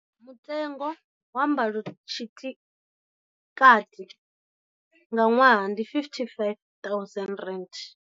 Mutengo wa mbalotshikati nga ṅwaha ndi R55 000.